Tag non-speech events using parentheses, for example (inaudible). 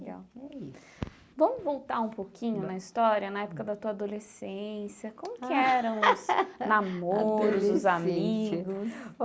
(unintelligible) Vamos voltar um pouquinho na história, na época da tua adolescência, como que eram (laughs) os namoros, adolescência os amigos?